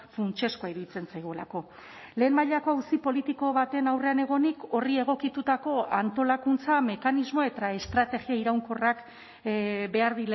funtsezkoa iruditzen zaigulako lehen mailako auzi politiko baten aurrean egonik horri egokitutako antolakuntza mekanismo eta estrategia iraunkorrak behar